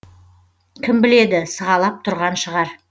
кім біледі сығалап тұрған шығар